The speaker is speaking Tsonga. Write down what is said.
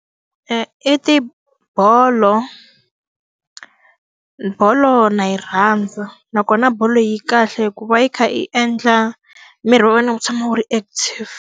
I ti bolo. Bolo na yi rhandza nakona bolo yi kahle hikuva yi kha yi endla miri wa wena wu tshama wu ri active.